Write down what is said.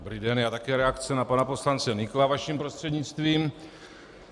Dobrý den, já také reakci na pana poslance Nykla vaším prostřednictvím.